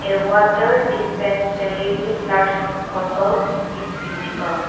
water dispensary with large bottle is visible.